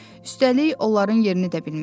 Üstəlik, onların yerini də bilmirəm.